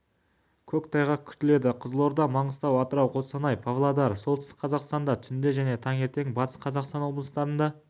көктайғақ күтіледі қызылорда маңғыстау атырау қостанай павлодар солтүстік қазақстанда түнде және таңертең батыс қазақстан облыстарында